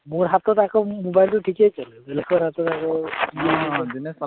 মোৰ হাতত আকৌ mobile টো ঠিকে চলে লোকৰ হাতত আকৌ